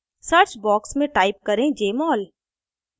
search box में type करें jmol